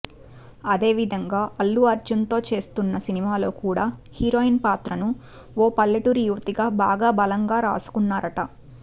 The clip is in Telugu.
అదేవిధంగా అల్లు అర్జున్ తో చేస్తోన్న సినిమాలో కూడా హీరోయిన్ పాత్రను ఓ పల్లెటూరి యువతిగా చాల బలంగా రాసుకున్నారట